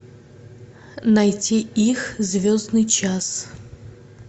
найти их звездный час